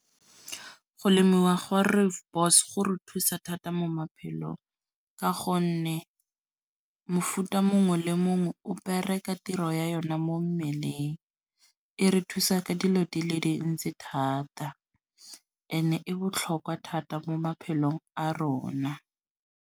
Go lemiwa gwa rooibos go re thusa thata mo maphelong. Ka gonne mofuta mongwe le mongwe o bereka tiro ya yona mo mmeleng. E re thusa ka dilo di le dintsi thata ene e botlhokwa thata mo maphelong a rona.